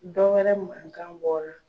Dɔwɛrɛ mankan bɔra.